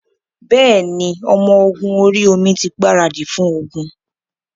Bẹ́ẹ̀ ni, ọmọ ogun orí-omi tí gbaradì fún ogun.